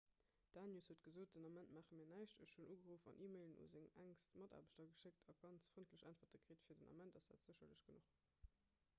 d'danius huet gesot den ament maache mir näischt ech hunn ugeruff an e-mailen un seng enkst mataarbechter geschéckt a ganz frëndlech äntwerte kritt fir den ament ass dat sécherlech genuch